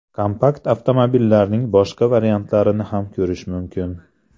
Kompakt avtomobillarning boshqa variantlarini ham ko‘rish mumkin.